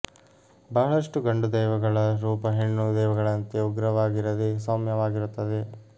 ಬಹಳಷ್ಟು ಗಂಡು ದೈವಗಳ ರೂಪ ಹೆಣ್ಣು ದೈವಗಳಂತೆ ಉಗ್ರವಾಗಿರದೆ ಸೌಮ್ಯ ವಾಗಿರುತ್ತದೆ